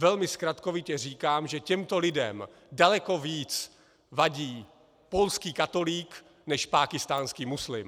Velmi zkratkovitě říkám, že těmto lidem daleko více vadí polský katolík než pákistánský muslim.